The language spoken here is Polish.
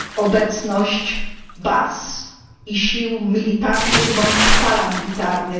obecność baz i sił militarnych bądź paramilitarnych.